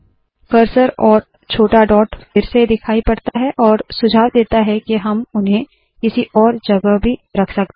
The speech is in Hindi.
कर्सर और छोटा डॉट फिर से दिखाई पड़ता है और सुझाव देता है के हम उन्हें किसी और जगह भी रख सकते है